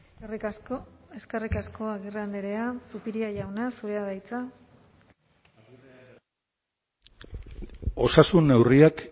eskerrik asko eskerrik asko agirre andrea zupiria jauna zurea da hitza osasun neurriak